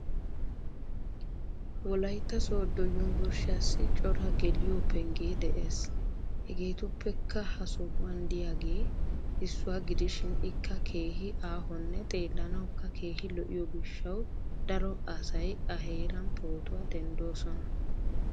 Wolayitta sooddo yumburshiyassi cora geliyo penggee des. Hegeetuppekka ha sohuwan diyager issuwa gidishin ikka keehi aahonne xeellanawukka keehi lo'iyo gishshawu daro asay a heeran pootuwa denddoosona.